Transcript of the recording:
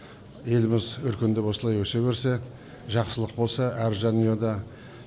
еліміз өркендеп осылай өсе берсе жақсылық болса әр жанұяда